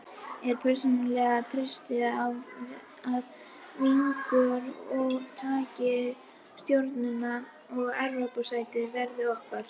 Ég persónulega treysti á að Víkingur Ó. taki Stjörnuna og Evrópusætið verði okkar.